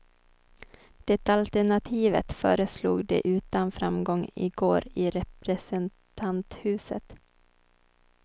Det alternativet föreslog de utan framgång i går i representanthuset.